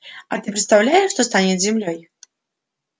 а ты представляешь что станет с землёй